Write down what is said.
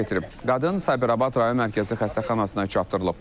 Qadın Sabirabad rayon Mərkəzi Xəstəxanasına çatdırılıb.